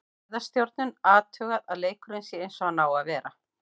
Gæðastjórnun, athugað að leikurinn sé eins og hann á að vera.